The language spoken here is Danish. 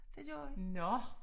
Det gjorde vi